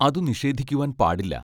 അതു നിഷേധിക്കുവാൻ പാടില്ല.